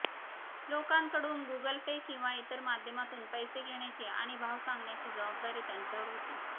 लोकांकडून Google Pay किंवा इतर माध्यमातून पैसे घेण्याची आणि भाव सांगण्याची जबाबदारी त्यांच्यावर होती